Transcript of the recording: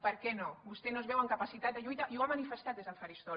per què no vostè no es veu amb capacitat de lluita i ho ha manifestat des del faristol